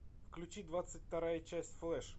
включи двадцать вторая часть флэш